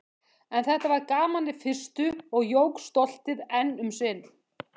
En þetta var gaman í fyrstu- og jók stoltið enn um sinn.